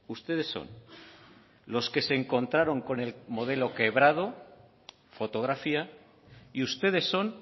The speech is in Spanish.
ustedes son los que se encontraron con el modelo quebrado fotografía y ustedes son